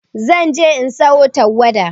Zan je in sayo tawada.